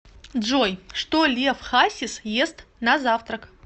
джой что лев хасис ест на завтрак